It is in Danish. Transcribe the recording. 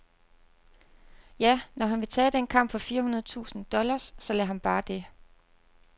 Ja, når han vil tage den kamp for fire hundrede tusind dollars, så lad ham bare det.